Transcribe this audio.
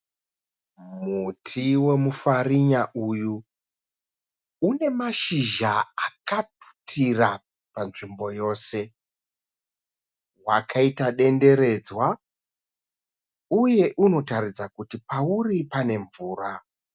Muti wemufarinya uyu une mashizha akatutira panzvimbo yose. Wakaita denderedzwa uye unotaridza kuti pauri pane mvura.